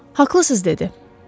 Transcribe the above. “Haqlısız”, dedi.